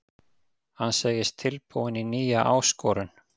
Hann segist tilbúinn í nýja áskorun.